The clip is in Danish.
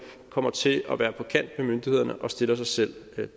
kommer til at være på kant med myndighederne og stiller sig selv